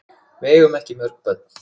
Við eigum ekki mörg börn.